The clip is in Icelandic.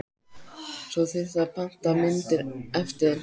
Svo þyrfti að panta myndir eftir þeim.